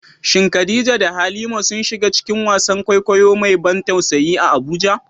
Shin Khadija da Halima sun shiga cikin wasan kwaikwayo mai ban tausayi a Abuja?